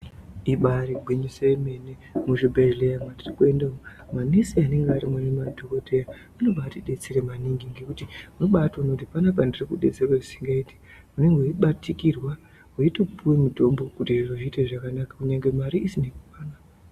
Ibari gwinyiso emene muzvibhedhleya mwatiri kuenda umwu nyanyise nemadhokodhaya anoba atibetsera kwemene nekuti unobaaona kuti panapa ndiri kubatsirwa zvisingaiti weibatikirwa weitopuwa mutombo kuti zviro zviite zvakanaka kunyangwe mari isingakwani.